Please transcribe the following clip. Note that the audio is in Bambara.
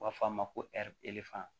U b'a fɔ a ma ko ɛri